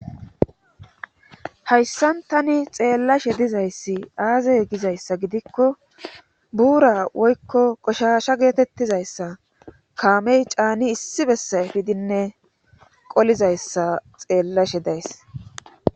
Hayssan tani xeellashe dizayssi aazey gizayssa gidikko buura woykko qoshasha geetettizayssa kaamey caani issi bessa fidinne qolizayssa xeellashe days